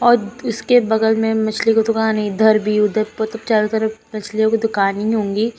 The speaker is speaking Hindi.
औद इसके बगल में मछली की दुकान है। इधर भी चारों तरफ मछलियों की दुकान ही होंगी।